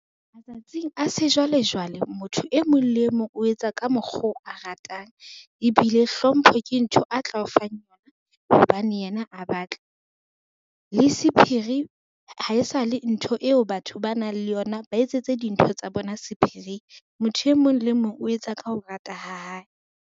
Matsatsing a sejwalejwale, motho e mong le e mong o etsa ka mokgo a ratang, ebile hlompho ke ntho a tla o fang yona hobane yena a batla. Le sephiri haesale ntho eo batho ba nang le yona ba etsetse dintho tsa bona sephiring, motho e mong le mong o etsa ka ho rata ha hae.